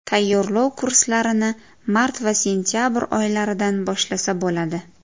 Tayyorlov kurslarini mart va sentabr oylaridan boshlasa bo‘ladi.